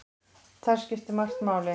Þar skiptir margt máli.